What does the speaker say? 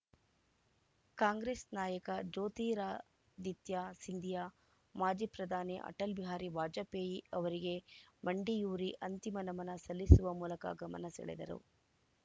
ಕಾಂಗ್ರೆಸ್‌ ನಾಯಕ ಜ್ಯೋತಿರಾದಿತ್ಯ ಸಿಂಧಿಯಾ ಮಾಜಿ ಪ್ರಧಾನಿ ಅಟಲ್‌ ಬಿಹಾರಿ ವಾಜಪೇಯಿ ಅವರಿಗೆ ಮಂಡಿಯೂರಿ ಅಂತಿಮ ನಮನ ಸಲ್ಲಿಸುವ ಮೂಲಕ ಗಮನ ಸೆಳೆದರು